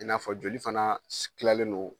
I n'a fɔ joli fana kilalen no